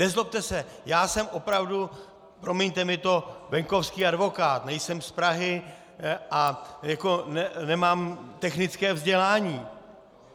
Nezlobte se, já jsem opravdu, promiňte mi to, venkovský advokát, nejsem z Prahy a nemám technické vzdělání.